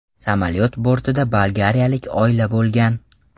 Samolyot bortida bolgariyalik oila bo‘lgan.